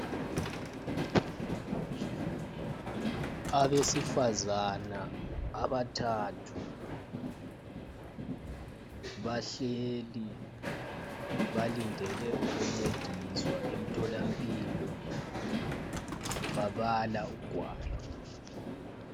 Abesifazana abathathu bahleli balindele ukuncediswa emtholampilo, babala ugwalo.